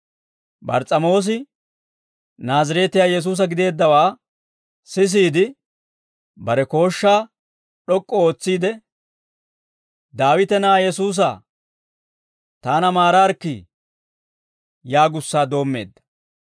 Bars's'amoos Naazireetiyaa Yesuusa gideeddawaa sisiide, bare kooshshaa d'ok'k'u ootsiide, «Daawite na'aa Yesuusaa, taana maaraarikkii!» yaagussaa doommeedda.